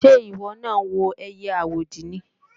Ṣé ìwọ náà ń wo ẹiyẹ àwòdì ni?